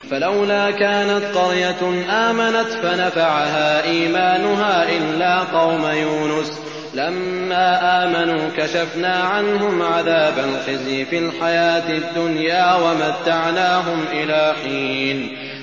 فَلَوْلَا كَانَتْ قَرْيَةٌ آمَنَتْ فَنَفَعَهَا إِيمَانُهَا إِلَّا قَوْمَ يُونُسَ لَمَّا آمَنُوا كَشَفْنَا عَنْهُمْ عَذَابَ الْخِزْيِ فِي الْحَيَاةِ الدُّنْيَا وَمَتَّعْنَاهُمْ إِلَىٰ حِينٍ